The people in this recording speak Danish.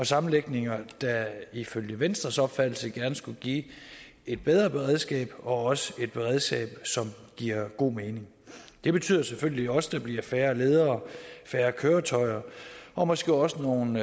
sammenlægninger der ifølge venstres opfattelse gerne skulle give et bedre beredskab og også et beredskab som giver god mening det betyder selvfølgelig også at der bliver færre ledere færre køretøjer og måske også nogle